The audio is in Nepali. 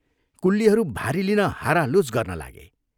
कुल्लीहरू भारी लिन हारालुछ गर्न लागे।